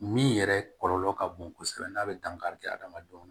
Min yɛrɛ kɔlɔlɔ ka bon kosɛbɛ n'a bɛ dankari kɛ adamadenw na